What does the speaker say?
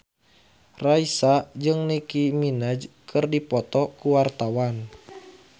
Raisa jeung Nicky Minaj keur dipoto ku wartawan